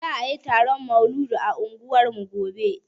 Za ayi taron maulidi a unguwarmu gobe